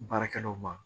Baarakɛlaw ma